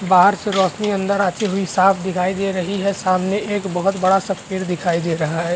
बाहर से रौशनी अंदर आते हुई है साफ दिखाई दे रही है सामने एक बहोत बड़ा -सा पेड़ दिखाई दे रहा है।